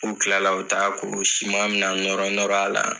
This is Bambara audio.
kila la u taa siman na nɔrɔ nɔrɔ a la.